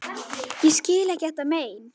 Ég skil ekki þetta mein.